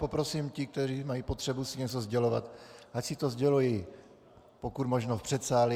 Poprosím ty, kteří mají potřebu si něco sdělovat, ať si to sdělují pokud možno v předsálí.